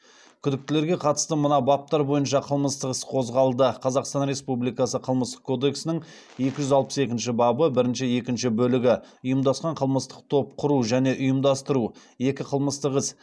күдіктілерге қатысты мына баптар бойынша қылмыстық іс қозғалды қазақстан республикасы қылмыстық кодексінің екі жүз алпыс екінші бабы бірінші екінші бөлігі екі қылмыстық іс